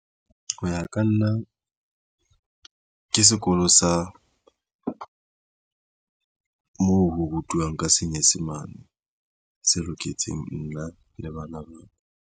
Ho ya ka nna, ke sekolo sa moo ho rutwang ka Senyesemane, se loketseng nna le bana ba.